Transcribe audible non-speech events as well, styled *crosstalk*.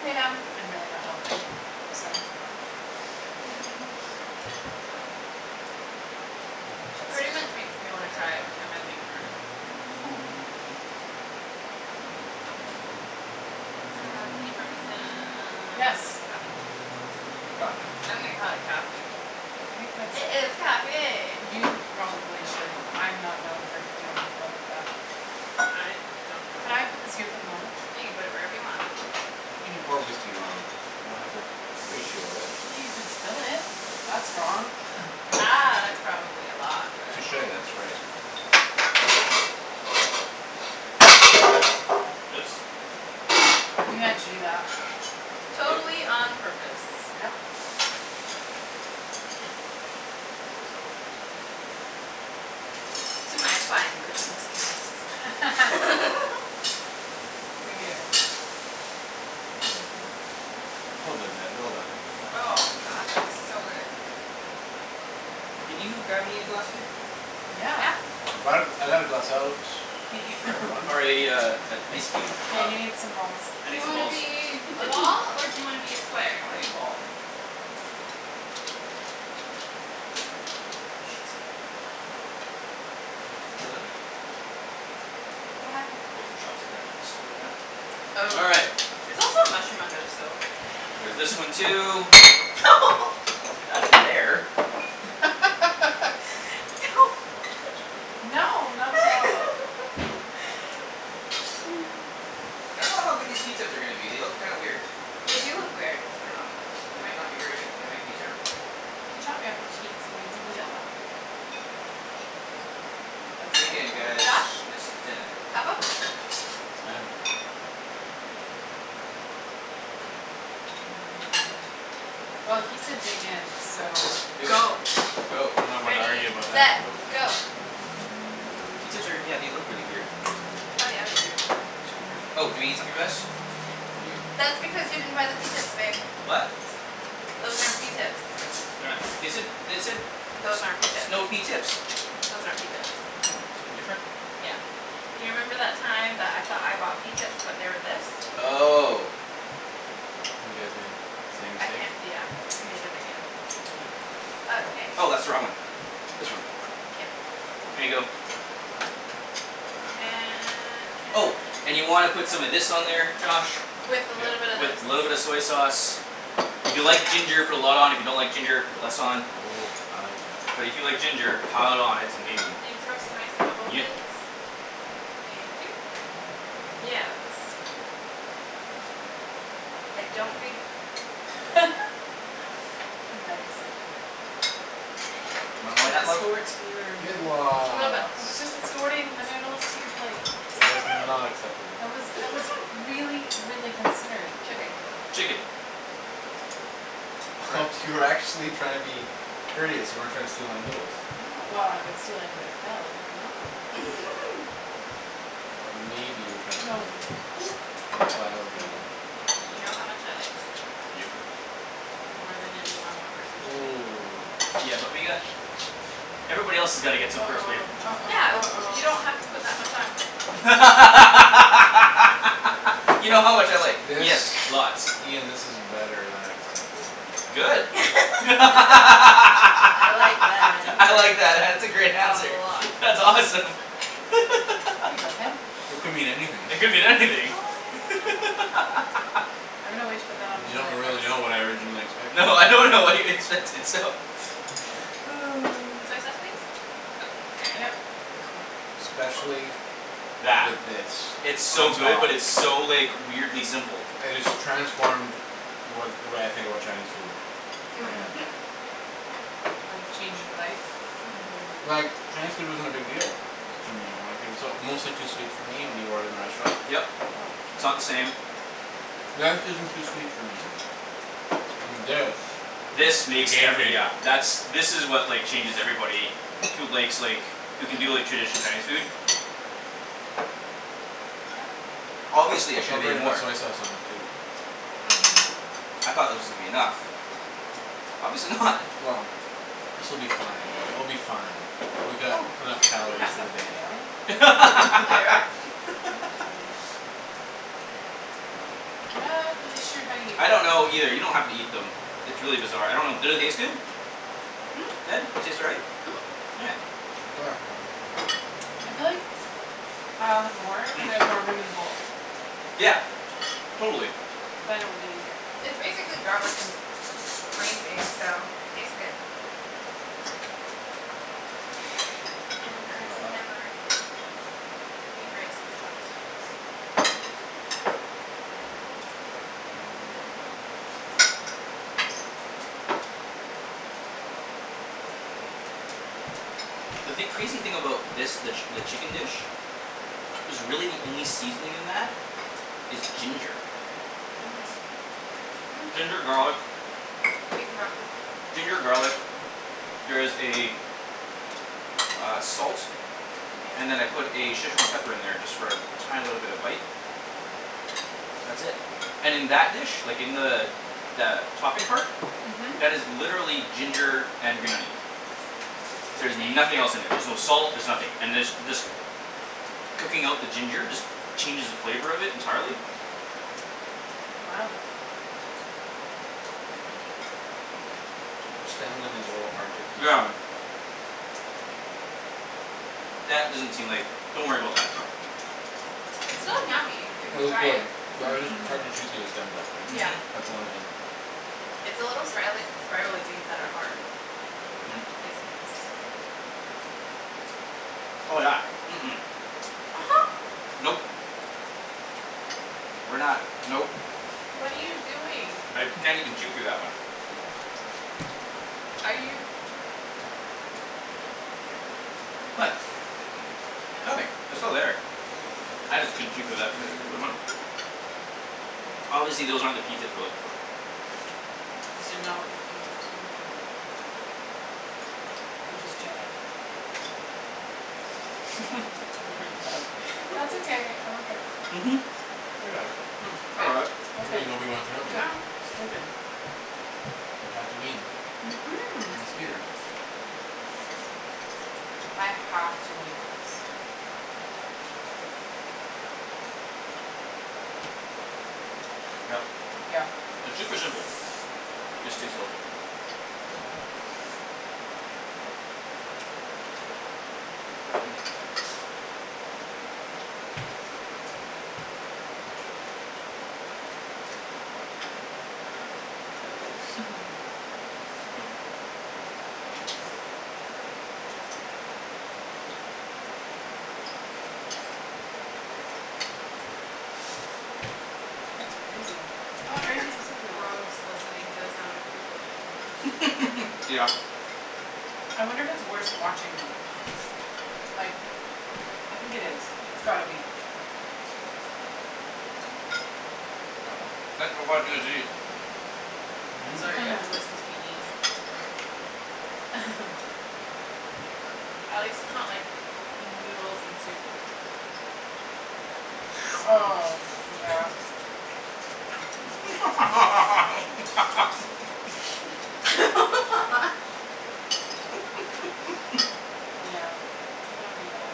Lay down. I'm really not helping. I'm sorry. Pretty much *inaudible* makes me wanna cry every time I leave her. *noise* Uh, can you pour me some Yes. coffee? Coffee. I'm gonna call it coffee. I think that's It is coffee. You probably should. I'm not known for doing well at that. I don't know. Can I put this here for the moment? You can put it wherever you want. How can you pour whiskey wrong? You don't have to ratio it. You could spill it; that's wrong. Ah, that's *inaudible* probably a lot, but. Touche, that's right. Oops. You meant to do that. Yep. Totally on purpose. Yep. To my fine cooking skills. *laughs* *laughs* Hear, hear. *noise* Well done, Ped, well done. Oh, god, that is so good. Can you grab me a glass, babe? Yeah. Yeah. I brought a, I got a glass out Hey for *laughs* everyone. Or a, uh, an ice cube? Yeah, you need some Um balls. I Do need you some wanna balls. be a ball or *laughs* do you wanna be a square? I wanna be ball. Ah, shit. Oh, well. C'est la vie. What happened? There's a chopstick underneath the stove now. Oh, All right. there's also a mushroom under the stove. There's this one too. *laughs* Not in there. *laughs* Don't touch me. No, not at all. *laughs* *noise* I don't know how good these pea tips are gonna be; they look kind weird. They do look weird. I don't know. They might not be very good. They might be terrible, actually. Can you top me off a teensy weensy bit? Yeah. That's Dig good, in thank guys, Josh, you. this is dinna. top up? Yes, ma'am. *noise* Well, he said dig in, so. Do it, Go. go. I'm not one to argue Ready, about that. set, Nope. go. Pea tips are, yeah, they look really weird. Oh, yeah, they do. Super weird. Oh, do we need something for this? We do. That's because you didn't buy the pea tips, babe. What? Those aren't pea tips. *inaudible* They said, they said Those aren't pea s- tips. snow pea tips. Those aren't pea tips. Oh, something different? Yeah, you remember that time that I thought I bought pea tips but they were this? Oh. You guys made the same I mistake. can't, yeah, we made it again. Oh. Okay. Oh, that's the wrong one. This one. Yeah. Here you go. And can Oh, and you y- wanna put some of this on there, Josh. With a little bit Yep. of this. With little bit of soy sauce. If you like ginger, put a lot on, if you don't like ginger, put less on. Oh, I like ginger. But if you like ginger pile it on; it's amazing. Can you throw some rice in my bowl, please? Yep. Thank you. Yeah, that's *noise* I don't think *noise* *laughs* Nice. You want more Can I then that, love? escort your Good noodles? Little bit. I *inaudible* was just escorting the noodles to your plate. That was not *laughs* acceptable. That was, it was *laughs* really, really considerate. Chicken. Chicken. Oh *laughs* you were actually trying to be courteous; you weren't trying to steal my noodles. No, well, I would steal anything that fell but, no. *laughs* But maybe you were trying to Oh, steal no. my noodles. *noise* And that's why I was Made offended. it. You know how much I like. Yep. More than any normal person should eat. Ooh. Yeah, but we got Everybody else's gotta get some first, babe. uh-oh, Yeah, uh-oh, you don't have to uh-oh. put that much on. *laughs* You know how much I like. This, Yes, lots. Ian, this is better than I expected. Good. *laughs* I'm *laughs* I I like that answer. like that; that's a great *noise* A answer. lot. That's awesome. Here you go, Ped. *laughs* It could mean anything. It could mean Oh, anything. yeah. *laughs* I'm gonna wait to put that You onto my don't rice. really know what I originally expected. No, I don't know what you expected, so. Oh. Soy sauce, please. Oh, I got it. Yep. Especially with That. this It's on so good top. but it's so, like weirdly simple. It has transformed what, the way I think about Chinese food. Right now. Mhm. Like change your life? Like, Mhm. Chinese food wasn't a big deal to me. Like it was uh mostly too sweet for me when you order in the restaurant. Yep, it's not the same. That isn't too sweet for me. And this This The makes game every, changer. yeah, that's, this is what, like, changes everybody who likes, like who can do, like, traditional Mhm. Chinese food. Obviously I should have Don't made forget to put more. soy sauce on it too. Mhm. I thought that was gonna be enough. Obviously not. Well, this will be fine; we'll be fine. Oh, We got can enough you calories pass for that the for me, darling? day. Thank you. *laughs* Not really sure how you I don't know either; you don't have to eat them. It's really bizarre. I don't know; did it taste good? *noise* Ped, they taste all right? Mhm. All right. Where? I feel like I'll have more when there's Hmm. more room *noise* in the bowl. Yeah. Totally. Then it will be easier. It's basically garlic and green beans so it tastes good. And I can never eat rice with chopsticks. Mmm. The thing, crazy thing about this, the, the chicken dish is really the only seasoning in that is ginger. Mhm. Mm. Ginger, garlic. Beef and broccoli. Ginger, garlic. There is a uh, salt. Yeah. And then I put a Szechwan pepper in there just for a tiny little bit of bite. That's it. And in that dish, like, in the the topping part Mhm. that is literally ginger and green onion. There's Thank nothing else in there. you. There's no salt; there's nothing. And there's, this cooking out the ginger just changes the flavor of it entirely. Wow. The stems on these are a little hard to Yeah. consume. That doesn't seem like, don't worry about that stuff. It's still yummy if you Well, it's try good it. but I just, it's Mhm. hard to chew through the stems actually; Yeah. Mhm. that's the only thing It's the little sprialy- spiraly things that are hard. Mm. It seems. Oh, yeah. Mm- mm. *noise* Nope. We're not, nope. What are you doing? I can't even chew through that one. Are you What? What are you, Nothing. oh. They're still there. I just couldn't chew through that par- particular one. Obviously those aren't the pea tips we're looking for. That's okay. I'm okay with that. Mhm. I got it. Hmm, I Yeah, got it. You ok, mean Obi Wan yeah, Kenobi. Good. you're Good, good. good. Mhm. *inaudible* I have to make this. Yep. Yep. It's super simple. Just takes a little bit. Wow. *laughs* Hmm. That's crazy. I It's wonder if crazy it's how simple it is. gross listening to the sound of people eat. *laughs* Yeah. I wonder if it's worse watching them. Like I think it is; it's gotta be. Thanks for watching us eat. I'm sorry you have to listen *noise* to me eat. *laughs* *laughs* At least its not like noodles and soup. Oh, yeah. *noise* *laughs* *laughs* *laughs* Yeah, that would be bad.